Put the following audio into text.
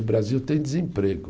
O Brasil tem desemprego.